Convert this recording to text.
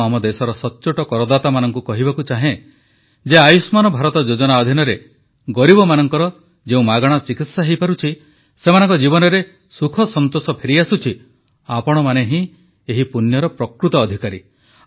ମୁଁ ଆମ ଦେଶର ସଚ୍ଚୋଟ କରଦାତାମାନଙ୍କୁ କହିବାକୁ ଚାହେଁ ଯେ ଆୟୁଷ୍ମାନ ଭାରତ ଯୋଜନା ଅଧିନରେ ଗରିବମାନଙ୍କର ଯେଉଁ ମାଗଣା ଚିକିତ୍ସା ହୋଇପାରୁଛି ସେମାନଙ୍କ ଜୀବନରେ ସୁଖ ସନ୍ତୋଷ ଫେରିଆସୁଛି ଆପଣମାନେ ହିଁ ଏହି ପୁଣ୍ୟର ପ୍ରକୃତ ଅଧିକାରୀ